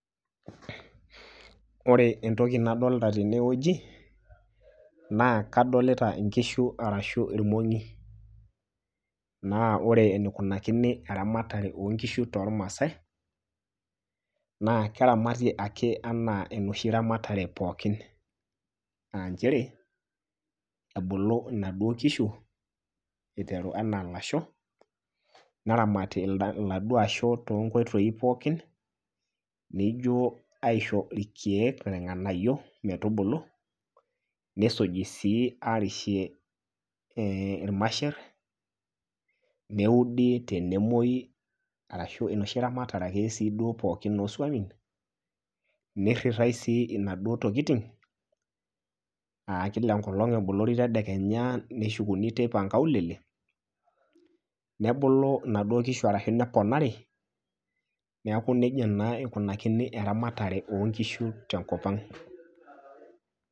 Ore entoki nadolita tene wueji naa kadolita inkishu arashu irmongi . Naa ore enikunakini eramatare oonkishu tormaasae naa keramati ake anaa enoshi ramatare pookin . Aa nchere ebulu inaduoo kishu iteru anaa ilasho ,neramati iladuoo asho toonkoitoi pookin nijo aisho irkieek ,irnganayio metubulu , nisuji sii arishie irmasher , neudi tenemwoi ashu enoshi ramatare ake oswamin ,niritae sii inaduoo tokitin aa kila enkolong ebolori tedekenya , neshukuni teipa inkaulele, nebulu inaduoo kishu ashu neponari niaku nejia naa eikunakini eramatare oonkishu tenkop ang.